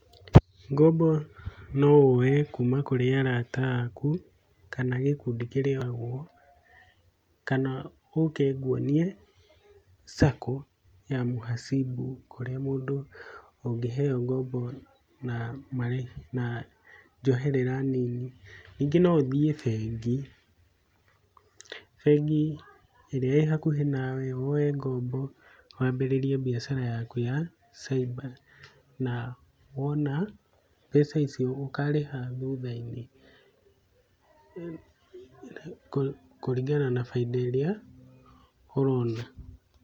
Ngombo nowoe kũma kũrĩ arata aku kana gĩkundi kana ũke ngũonie Sacco ya muhasibu, kũrĩa mũndũ ũngĩheo ngombo na marĩhi na njoherera nini, ningĩ noũthiĩ bengi, bengi ĩrĩa ĩĩ hakuhĩ nawe woe ngombo, wambĩrĩrie biacara yaku ya cyber, na wona mbeca icio ũkarĩha thutha-inĩ kũ kũringana na baida ĩrĩa ũrona.